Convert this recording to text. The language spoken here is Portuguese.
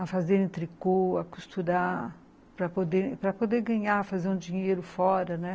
a fazerem tricô, a costurar para poder ganhar, fazer um dinheiro fora, né.